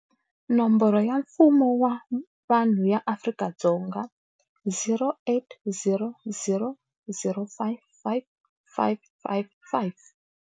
Nomboro ya mpfuno wa vanhu ya Afrika-Dzonga- 0800 055 555.